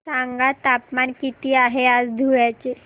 सांगा तापमान किती आहे आज धुळ्याचे